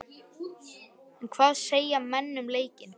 En hvað segja menn um leikinn?